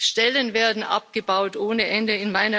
Stellen werden abgebaut ohne Ende.